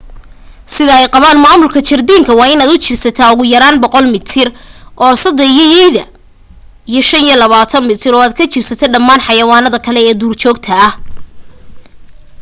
sida ay qabaan maamulka jardiinka waa inaad u jirsataa ugu yaraa 100 mitir oorsada iyo yeyda iyo 25 mitir ood u jirsato dhammaan xayawaanada kale ee duurjoogta ah